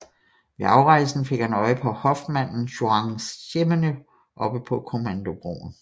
Ved afrejsen fik han øje på hofmanden Juan Ximeno oppe på kommandobroen